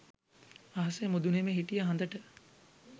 අහසෙ මුදුනෙම හිටිය හඳට